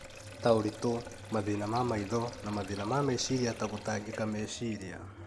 ta ũritũ, mathĩna ma maitho, na mathĩna ma meciria ta gũtangĩka meciria.